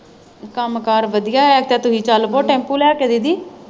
ਕੰਮ ਕਾਰ ਵਧੀਆ ਹੈ ਤੇ ਤੁਸੀ ਚੱਲ ਪੋ ਟੈਂਪੂ ਲੈ ਕੇ ਦੀਦੀ।